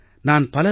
நான் பலரது